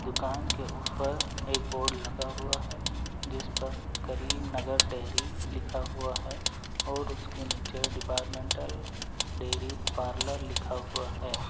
दुकान के ऊपर एक बोर्ड लगा हुआ है जिस पर करीमनगर डेरी लिखा हुआ है और उसके नीचे डिपार्टमेंटल डेरी पार्लर लिखा हुआ है।